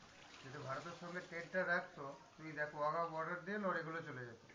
যদি ভারতের সঙ্গে trade টা রাখতো, তুই দেখ Wagah border দিয়ে লরিগুলো চলে যেত।